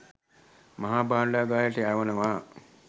මහා භාණ්ඩගාරයට යවනවා